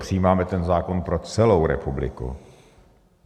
přijímáme ten zákon pro celou republiku.